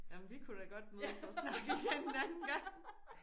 Jamen vi kunne da godt mødes og snakke igen en anden gang